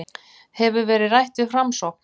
Hefur verið rætt við Framsókn